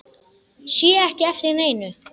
Sé ekki eftir neinu.